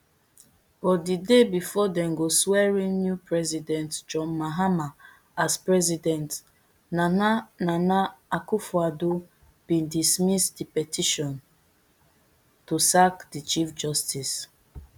but di day bifor dem go swearin new president john mahama as president nana nana akufoaddo bin dismiss di petition to sack di chief justice